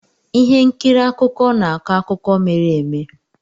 Ihe nkiri akụkọ na-akọ akụkọ mere eme.